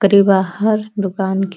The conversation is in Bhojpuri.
ओक़री बाहर दुकान के --